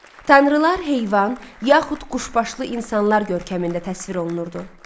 Tanrılar heyvan, yaxud quşbaşlı insanlar görkəmində təsvir olunurdu.